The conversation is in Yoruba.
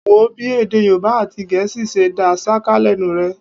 Wò ó bí èdè Yorùbá àti Gẹ̀ẹ́sì ṣe dá ṣáká lẹ́nu rẹ̀.